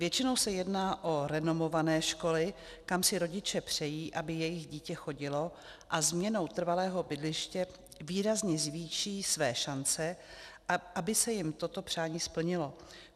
Většinou se jedná o renomované školy, kam si rodiče přejí, aby jejich dítě chodilo, a změnou trvalého bydliště výrazně zvýší své šance, aby se jim toto přání splnilo.